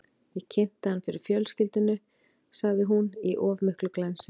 Ég kynnti hann fyrir fjölskyldunni, sagði hún, í of miklu glensi.